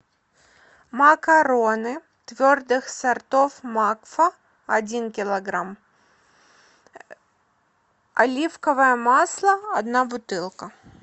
макароны твердых сортов макфа один килограмм оливковое масло одна бутылка